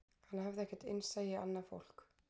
Hann hafði ekkert innsæi í annað fólk